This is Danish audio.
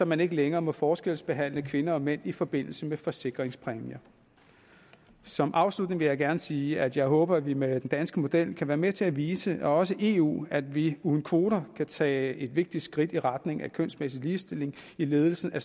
man ikke længere må forskelsbehandle kvinder og mænd i forbindelse med forsikringspræmier som afslutning vil jeg gerne sige at jeg håber at vi med den danske model kan være med til at vise også eu at vi uden kvoter kan tage et vigtigt skridt i retning af kønsmæssig ligestilling i ledelsen af